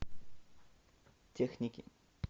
техники